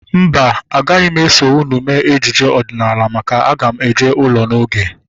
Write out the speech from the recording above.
Mba, agaghị m eso unu mee ejije ọdịnala maka na aga m eje ụlọ n'oge